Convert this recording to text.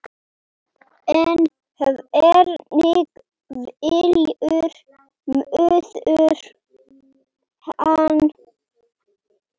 En hvernig fyllir maður hann?